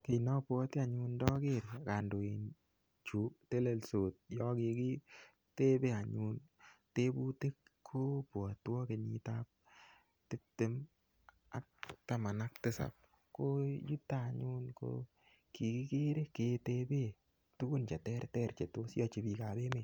Kit ne obwote anyun ndoker kandoichu telendos, yon kigiteben anyun tebutik kobwotwon kenyit ab tibtem ak tisab ko yuton anyun ko kigikere keteben tuguk che terter che tos yochi biik ab emet.